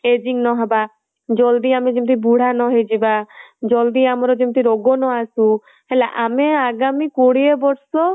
ageing ନ ହବା ଜଲ୍ଦି ଯେମିତି ଆମେ ବୁଢା ନ ହୋଇ ଯିବା ଜଲ୍ଦି ଆମର ଯେମିତି ରୋଗ ନ ଆସୁ ଆମେ ଆଗାମୀ କୋଡିଏ ବର୍ଷ